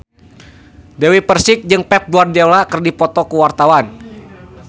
Dewi Persik jeung Pep Guardiola keur dipoto ku wartawan